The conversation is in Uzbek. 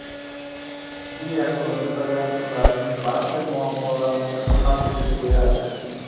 yil yakuniga qadar ularning barcha muammolarini hal etib beradi.